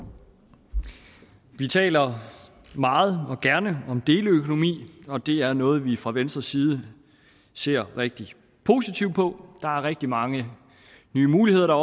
vi taler meget og gerne om deleøkonomi og det er noget vi fra venstres side ser rigtig positivt på der opstår rigtig mange nye muligheder der